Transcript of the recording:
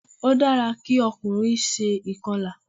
Ó dára kí ọkùnrin se ìkọlà